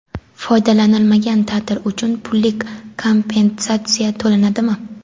Foydalanilmagan taʼtil uchun pullik kompensatsiya to‘lanadimi?.